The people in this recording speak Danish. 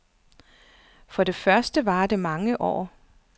For det første varer det mange år.